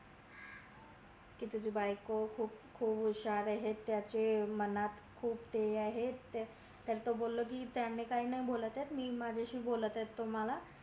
तुझी बायको खूप हुशार ये त्याच्या मनात खूप हे हायकाय नाय बोलत ये मी माझ्या शी बोलत आहे तुम्हला